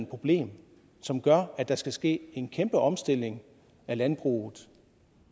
problem som gør at der skal ske en kæmpe omstilling af landbruget